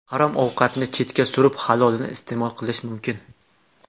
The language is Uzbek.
Harom ovqatni chetga surib, halolini iste’mol qilish mumkin.